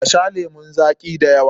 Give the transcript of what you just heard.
Ka sha lemun zaƙi da yawa!